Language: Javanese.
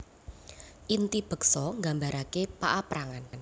Inti beksa nggambarake paaprangan